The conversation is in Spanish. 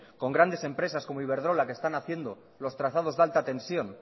con grandes empresas como iberdrola que están haciendo los trazados de alta tensión